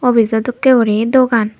office jo dokke guri dogan.